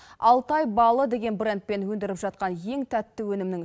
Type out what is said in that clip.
алтай балы деген брендпен өндіріп жатқан ең тәтті өнімнің